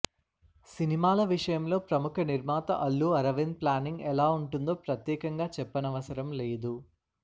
సినిమాల విషయంలో ప్రముఖ నిర్మాత అల్లు అరవింద్ ప్లానింగ్ ఎలా ఉంటుందో ప్రత్యేకంగా చెప్పనవసరం లేదు